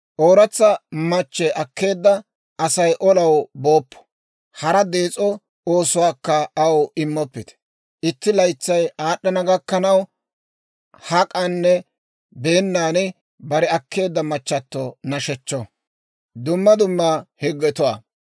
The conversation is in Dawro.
«Ooratsa machche akkeedda Asay olaw booppo; hara dees'o oosuwaakka aw immoppite. Itti laytsay aad'd'ana gakkanaw, hak'anne beennan bare akkeedda machchato nashechcho.